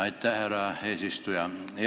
Aitäh, härra eesistuja!